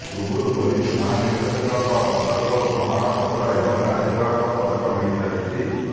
ପୂର୍ବରୁ ପୋଲିସ ମହାନିର୍ଦ୍ଦେଶକଙ୍କ ପଦକ ଓ ପ୍ରମାଣ ପତ୍ର ଏବଂ ରାଜ୍ୟପାଳଙ୍କ ପଦକ ମିଳିସାରିଛି